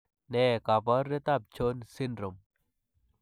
Ne kaabarunetap Jones syndrome?